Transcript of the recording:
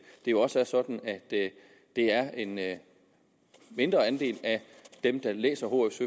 jo også er sådan at det er en mindre andel af dem der læser hf